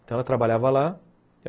Então, ela trabalhava lá.